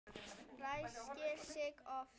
Ræskir sig oft.